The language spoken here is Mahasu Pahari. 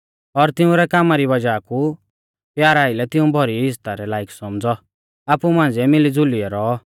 और तिंउरै कामा री वज़ाह कु प्यारा आइलै तिऊं भौरी इज़्ज़ता रै लायक सौमझ़ौ आपु मांझ़िऐ मिलीज़ुलियौ रौऔ